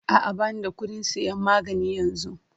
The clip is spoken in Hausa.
A'a, ba ni da kuɗin sayan magani yanzu.